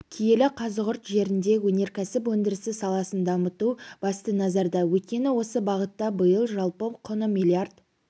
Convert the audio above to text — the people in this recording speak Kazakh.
киелі қазығұрт жерінде өнеркәсіп өндірісі саласын дамыту басты назарда өйткені осы бағытта биыл жалпы құны миллиард